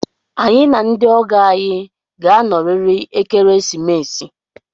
Anyị na ndị ọgọ anyị ga-anọrịrị ekeresimesi